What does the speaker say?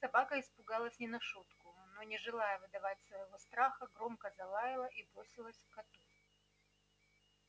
собака испугалась не на шутку но не желая выдавать своего страха громко залаяла и бросилась к коту